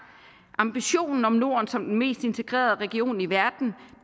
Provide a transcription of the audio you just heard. ambitionen om norden som den mest integrerede region i verden